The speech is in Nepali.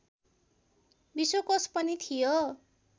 विश्वकोश पनि थियो